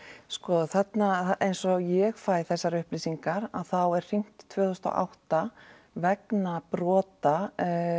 sko þarna eins og ég fæ þessar upplýsingar að þá er hringt tvö þúsund og átta vegna brota